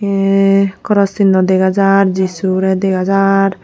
ey koros sinno dega jar jisurey dega jar.